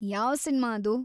ಯಾವ್‌ ಸಿನ್ಮಾ ಅದು?